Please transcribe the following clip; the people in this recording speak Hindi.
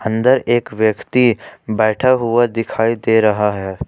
अंदर एक व्यक्ति बैठा हुआ दिखाई दे रहा है।